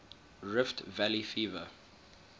rift valley fever